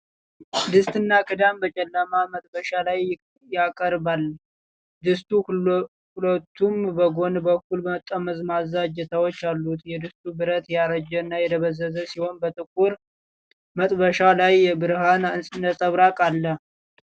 ድስትና ክዳን በጨለማ መጥበሻ ላይ ያቀርባል። ድስቱ ሁለቱም በጎን በኩል ጠመዝማዛ እጀታዎች አሉት። የድስቱ ብረት ያረጀና የደበዘዘ ሲሆን፣ በጥቁር መጥበሻው ላይ የብርሃን ነጸብራቅ አለ።